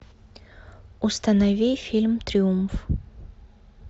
установи фильм триумф